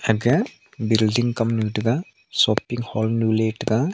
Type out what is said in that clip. aga building kam nu taiga shopping hall nu ley taiga.